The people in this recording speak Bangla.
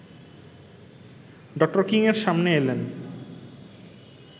ড. কিংএর সামনে এলেন